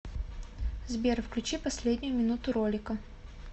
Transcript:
сбер включи последнюю минуту ролика